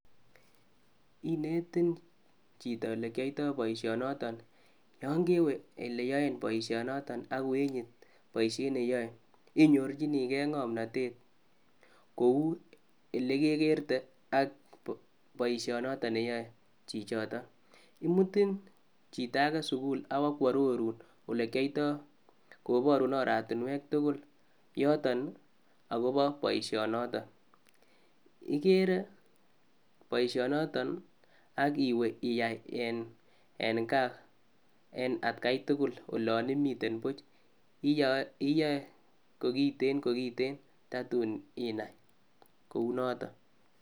Kinetin chito olekioito boishonoton, yon kewe ele yoen boishonoton ak kowenye boishet neyoe inyorchinge ngonmotet kou elekekerte ak boishonoton neyoe neyoe chichoton, imuti chitage sukul ak kwo koborun ole kiyoito koborun oratinwek tukul yoton nii akopo boishonoton. Ikere boishonoto ak iwe iyai en gaa en atgai tukul olom imiten buch iyoe iyoe kokiten tatun inai kounoton.